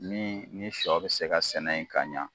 Min ni sɔ bɛ se ka sɛnɛ yen ka ɲa